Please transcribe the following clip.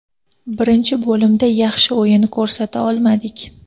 Birinchi bo‘limda yaxshi o‘yin ko‘rsata olmadik.